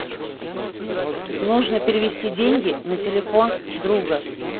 нужно перевести деньги на телефон друга